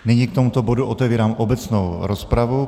Nyní k tomuto bodu otevírám obecnou rozpravu.